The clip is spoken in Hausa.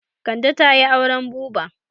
Kande ta yi auren buba.